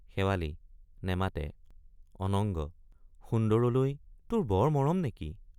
শেৱালি— নেমাতে অনঙ্গ—সুন্দৰলৈ তোৰ বৰ মৰম নেকি?